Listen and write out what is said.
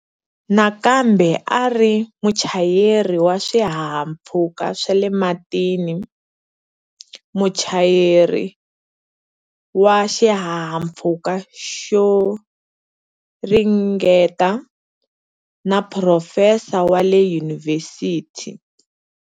Nakambe a a ri muchayeri wa swihahampfhuka swa le matini, muchayeri wa xihahampfhuka xo ringeta, ni profesa wa le yunivhesiti.